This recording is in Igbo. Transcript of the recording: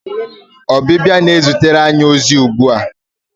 Ọbịbịa na-ezitere anyị ozi ugbu a.